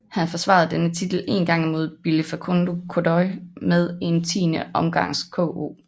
Han forsvarede denne titel en gang imod Billi Facundo Godoy med en tiende omgangs KO